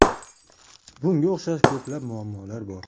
Bunga o‘xshash ko‘plab muammolar bor.